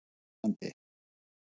Múlalandi